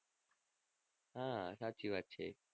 હા સાચી વાત છે.